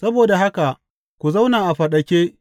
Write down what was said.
Saboda haka ku zauna a faɗake!